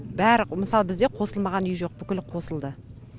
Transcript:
бәрі мысалы бізде қосылмаған үй жоқ бүкілі қосылды